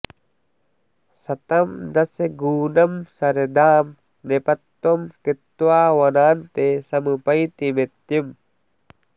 शतं दशगूनं शरदां नृपत्वं कृत्वा वनान्ते समुपैति मृत्युम्